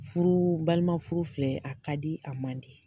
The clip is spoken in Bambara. Furu balima furu filɛ a ka di a man di